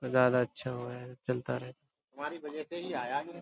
नजारा अच्छा होवे है। चलता रह।